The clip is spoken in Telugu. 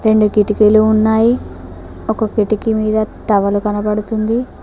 రెండు కిటికీలు ఉన్నాయి ఒక కిటికీ మీద టవలు కనబడుతుంది